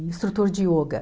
instrutor de yoga.